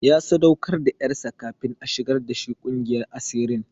Ya sadaukar da ƴarsa kafin a shigar da shi ƙungiyar asirin.